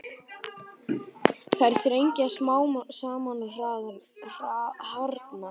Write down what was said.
Þær þrengjast smám saman og harðna.